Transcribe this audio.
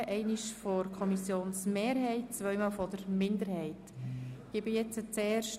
Steuerentlastungen zu schaffen, damit sich der Kanton Bern im interkantonalen Ranking wesentlich verbessern kann.